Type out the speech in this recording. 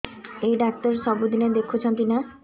ଏଇ ଡ଼ାକ୍ତର ସବୁଦିନେ ଦେଖୁଛନ୍ତି ନା